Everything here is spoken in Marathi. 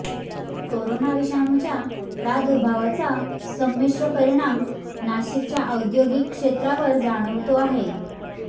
करोना विषाणूच्या प्रादुर्भावाचा संमिश्र परिणाम नाशिकच्या औद्योगिक क्षेत्रावर जाणवतो आहे